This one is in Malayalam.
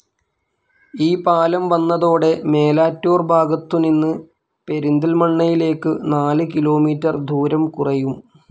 ഈ പാലം വന്നതോടെ മേലാറ്റൂർ ഭാഗത്തു നിന്ന് പെരിന്തല്മണ്ണയിലേക്കു നാല് കിലോമീറ്റർ ദൂരം കുറയും.